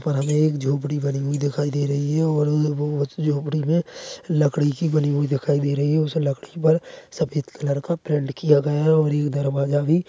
यहाँ पे एक झोंपड़ी बनी हुई दिखाई दे रही है और यह जो झोंपड़ी है लकड़ी की बनी हुई दिखाई दे रही है लकड़ी में सफ़ेद कलर का पैंट किया गया है और ये दरवाज़ा भी--